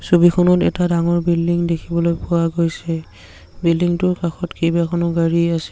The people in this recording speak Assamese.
ছবিখনত এটা ডাঙৰ বিল্ডিং দেখিবলৈ পোৱা গৈছে বিল্ডিং টোৰ কাষত কেবাখনো গাড়ী আছে।